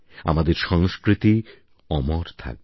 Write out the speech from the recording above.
আমাদের সংস্কৃতি অমর থাকবে